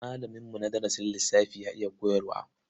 Malaminmu na darasin lissafi ya iya koyarwa.